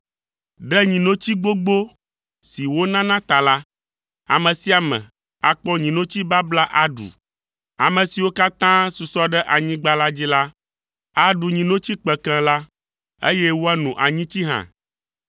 Ɖe nyinotsi gbogbo si wonana ta la, ame sia ame akpɔ nyinotsi babla aɖu. Ame siwo katã susɔ ɖe anyigba la dzi la, aɖu nyinotsi kpekẽ la, eye woano anyitsi hã.